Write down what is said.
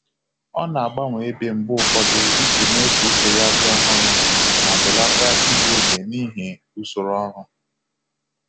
Ọ na-agbanwe ebe mgbe ụfọdụ iji mee ka uche ya dị ọhụrụ ma belata igbu oge n'ihi usoro ọrụ.